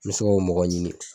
n bɛ se k'o mɔgɔ ɲini